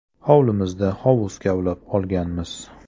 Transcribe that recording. Hovlimizda hovuz kavlab olganmiz.